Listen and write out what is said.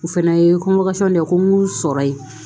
U fɛnɛ ye de ko n y'u sɔrɔ yen